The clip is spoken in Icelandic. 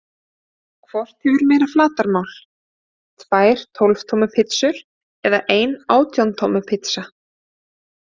Hvort hefur meira flatarmál, tvær tólf tommu pizzur eða ein átján tommu pizza?